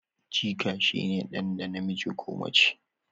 jika shi ne dan da namiji ko mace